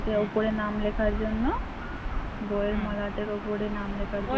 মলাটের উপর নাম লেখা জন্য